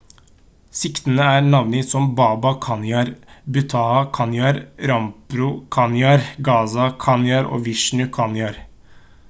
siktede er navngitt som baba kanjar bhutha kanjar rampro kanjar gaza kanjar og vishnu kanjar